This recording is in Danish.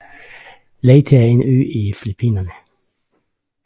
Leyte er en ø i Filippinerne